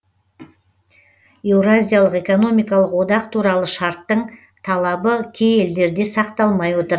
еуразиялық экономикалық одақ туралы шарттың талабы кей елдерде сақталмай отыр